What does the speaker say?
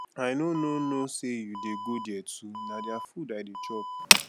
i no no know say you dey go there too na their food i dey chop